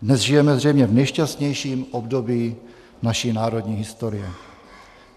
Dnes žijeme zřejmě v nejšťastnějším období naší národní historie.